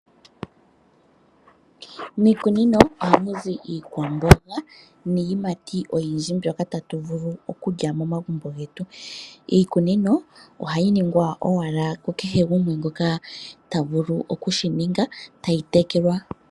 Miikunino ohamu zi iikwamboga niiyimati oyindji mbyoka tatu vulu okulya momagumbo getu. Iikunino ohayi ningwa owala ku kehe gumwe ngoka ta vulu oku shininga nokuyi tekela.